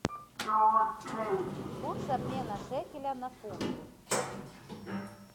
курс обмена шекеля на фунты